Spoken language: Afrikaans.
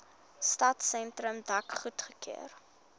stadsentrum dek goedgekeur